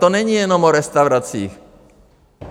To není jenom o restauracích.